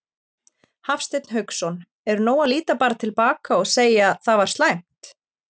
Hafsteinn Hauksson: Er nóg að líta bara til baka og segja það var slæmt?